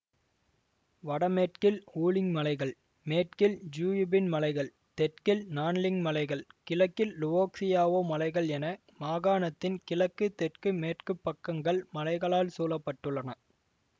வடமேற்கில் Wuling மலைகள் மேற்கில் ஜுயுபின் மலைகள் தெற்கில் நான்லிங் மலைகள் கிழக்கில் லுவோக்சியாவோ மலைகள் என மாகாணத்தின் கிழக்கு தெற்கு மேற்கு பக்கங்கள் மலைகளால் சூழப்பட்டுள்ளன